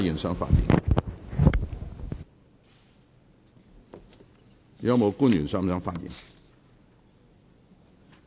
是否有官員想發言？